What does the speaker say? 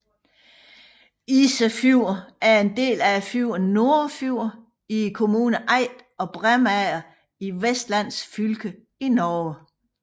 Isefjorden er en del af fjorden Nordfjord i kommunerne Eid og Bremanger i Vestland fylke i Norge